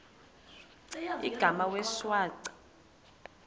igama wee shwaca